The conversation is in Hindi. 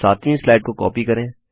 अब सातवीं स्लाइड को कॉपी करें